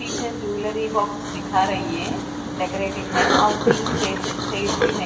पीछे jewellery boxes दिखा रही है डेकोरेटिव है और तीन चे चेयर्स भी--